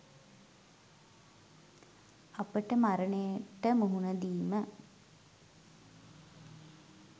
අපට මරණයට මුහුණ දීම